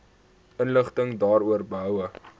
inligting daaroor behoue